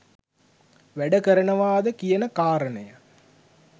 වැඩ කරනවද කියන කාරණය